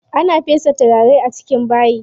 Ana fesa turare a cikin bayi.